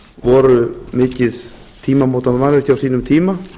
voru mikið tímamótamannvirki á sínum tíma